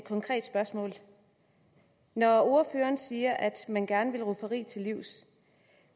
konkret spørgsmål når ordføreren siger at man gerne vil rufferi til livs